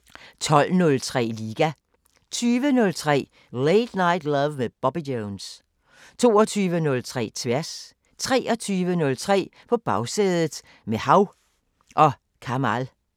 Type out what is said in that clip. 10:03: Den sorte boks 12:03: Liga 20:03: Late Night Love med Bobby Jones 22:03: Tværs 23:03: På Bagsædet – med Hav & Kamal